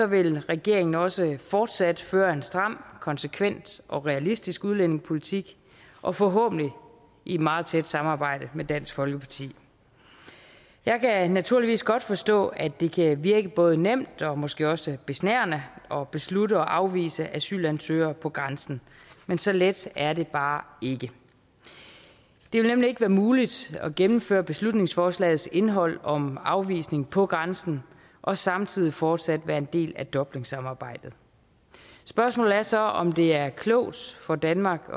vil regeringen også fortsat føre en stram konsekvent og realistisk udlændingepolitik og forhåbentlig i et meget tæt samarbejde med dansk folkeparti jeg kan naturligvis godt forstå at det kan virke både nemt og måske også besnærende at beslutte at afvise asylansøgere på grænsen men så let er det bare ikke det vil nemlig ikke være muligt at gennemføre beslutningsforslagets indhold om en afvisning på grænsen og samtidig fortsat være en del af dublinsamarbejdet spørgsmålet er så om det er klogt for danmark